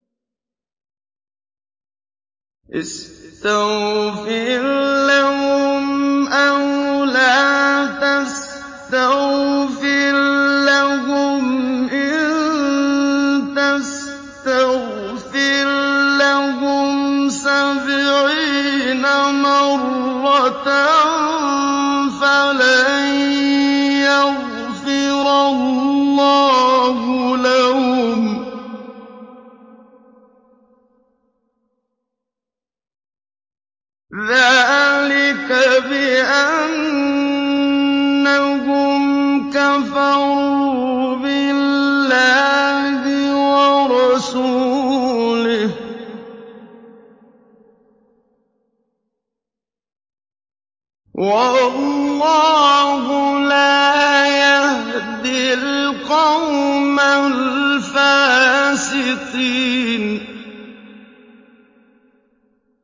اسْتَغْفِرْ لَهُمْ أَوْ لَا تَسْتَغْفِرْ لَهُمْ إِن تَسْتَغْفِرْ لَهُمْ سَبْعِينَ مَرَّةً فَلَن يَغْفِرَ اللَّهُ لَهُمْ ۚ ذَٰلِكَ بِأَنَّهُمْ كَفَرُوا بِاللَّهِ وَرَسُولِهِ ۗ وَاللَّهُ لَا يَهْدِي الْقَوْمَ الْفَاسِقِينَ